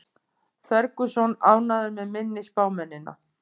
Ferguson ánægður með minni spámennina